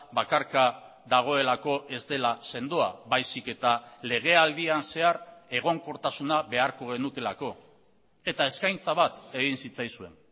bakarka dagoelako ez dela sendoa baizik eta legealdian zehar egonkortasuna beharko genukeelako eta eskaintza bat egin zitzaizuen